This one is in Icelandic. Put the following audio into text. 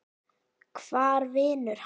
Hvar vinnur hann?